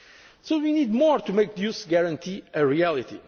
Europe. So we need more to make the Youth Guarantee